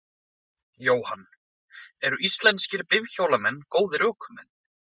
Jóhann: Eru íslenskir bifhjólamenn góðir ökumenn?